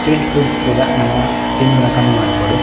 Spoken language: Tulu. ಸ್ಟ್ರೀಟ್ ಫುಡ್ ಪೂರ ನಮ ತಿನ್ಪುನ ಕಮ್ಮಿ ಮನ್ಪೊಡು.